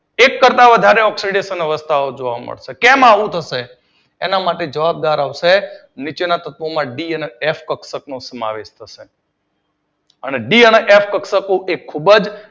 એક કરતાં વધારે ઓક્સીડેશન અવસ્થા જોવા મળશે કેમ આવું થશે? એના માટે જવાબદાર આવશે નીચેના તત્વો માં ડી અને એક્ષ કક્ષકો નો સમાવેશ થશે અને ડી અને એક્ષ કક્ષક ખૂબ જ